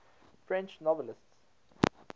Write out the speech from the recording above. french novelists